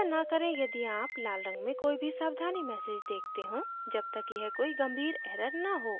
चिंता न करें यदि आप लाल रंग में कोई भी सावधानी message देखते हों जब तक यह कोई गंभीर error न हो